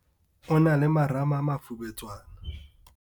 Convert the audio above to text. O na le marama a mafubetswana.